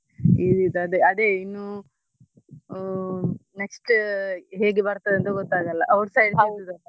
Easy ಇತ್ತು ಅದೇ ಅದೇ ಇನ್ನು ಆ next ಹೇಗೆ ಬರ್ತದೆ ಅಂತ ಗೊತ್ತಾಗಲ್ಲ outside ಹೌದು.